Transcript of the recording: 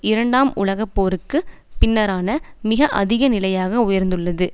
இரண்டாம் உலக போருக்கு பின்னரான மிக அதிக நிலையாக உயர்ந்துள்ளது